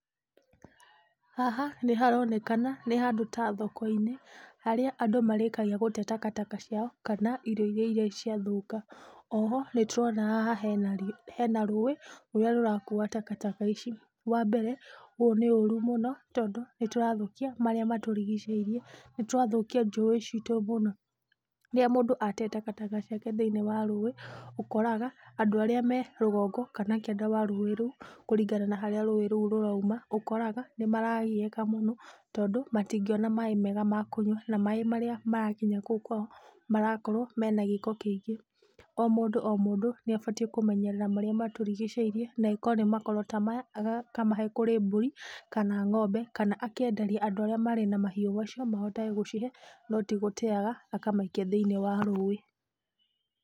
Haha nĩ haronekana nĩ handũ ta thoko-inĩ, harĩa andũ marĩkagia gũte takataka ciao kana irio iria irĩ ciathũkia. Oho nĩ tũrona haha hena rũĩ rũrĩa rũrakua takataka ici. Wa mbere ũũ nĩ ũru mũno tondũ nĩ tũrathũkia marĩa matũrigicĩirie, nĩ tũrathũkia njũĩ ciitũ mũno. Rĩrĩa mũndũ ate takataka ciake thĩiniĩ wa rũĩ, ũkoraga andũ arĩa me rũgongo kana kĩanda wa rũĩ rũu kũringana na harĩa rũĩ rũu rũrauma, ũkoraga nĩ maragiika mũno tondũ matingĩona maaĩ mega ma kũnyua, na maaĩ marĩa marakinya kũu kwao marakorwo mena gĩko kĩingĩ. O mũndũ o mũndũ nĩ abatiĩ kũmenyerera marĩa matũrigicĩirie nekorwo nĩ mahuti ta maya akamahe kũrĩ mbũri kana ng'ombe kana akenderia andũ arĩa marĩ na mahiũ macio mahotage gũcihe no ti gũteaga akamaikia thĩiniĩ wa rũĩ.